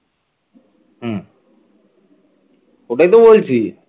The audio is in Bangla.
ওটাই তো বলছি।